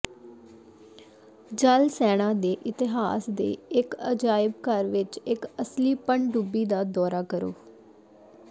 ਜਲ ਸੈਨਾ ਦੇ ਇਤਿਹਾਸ ਦੇ ਇਸ ਅਜਾਇਬਘਰ ਵਿਚ ਇਕ ਅਸਲੀ ਪਣਡੁੱਬੀ ਦਾ ਦੌਰਾ ਕਰੋ